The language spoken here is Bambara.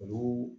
Olu